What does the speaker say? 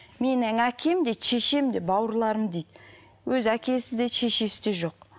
менің әкем де шешем де бауырларым дейді өзі әкесі де шешесі де жоқ